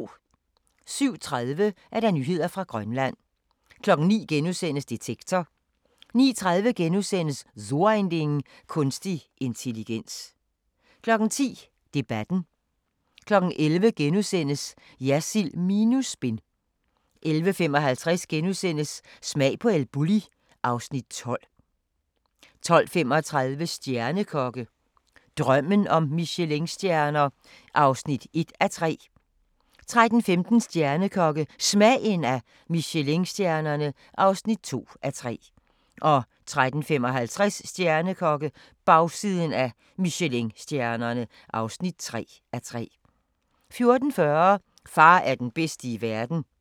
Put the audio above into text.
07:30: Nyheder fra Grønland 09:00: Detektor * 09:30: So ein Ding: Kunstig intelligens * 10:00: Debatten * 11:00: Jersild minus spin * 11:55: Smag på El Bulli (Afs. 12)* 12:35: Stjernekokke – drømmen om Michelinstjerner (1:3) 13:15: Stjernekokke – Smagen af Michelinstjernerne (2:3) 13:55: Stjernekokke - bagsiden af Michelinstjernerne (3:3) 14:40: Far er den bedste i verden